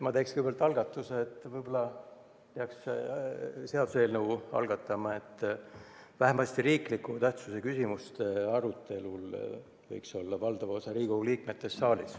Ma teen kõigepealt ettepaneku, et võib-olla peaks algatama seaduseelnõu, mille järgi vähemasti riikliku tähtsusega küsimuste arutelul oleks saalis valdav osa Riigikogu liikmetest.